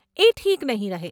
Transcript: એ ઠીક નહીં રહે.